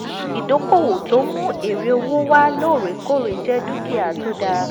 ìdókòwò tó ń mú èrè owó wá lóòrèkóòrè jẹ́ dúkìá tó tó dá.